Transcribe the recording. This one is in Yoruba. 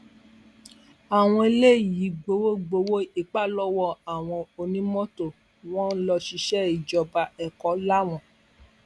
àwọn eléyìí ń gbowó ń gbowó ipa lọwọ àwọn onímọtò wọn lọṣìṣẹ ìjọba ẹkọ láwọn